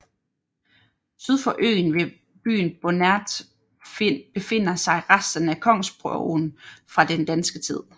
Syd for øen ved byen Bonert befinder sig resterne af kongsborgen fra den danske tid